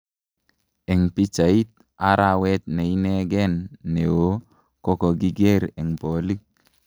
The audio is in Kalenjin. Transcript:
Eng pichait:Arawet ne inegeen neoo ko kokiger en polik.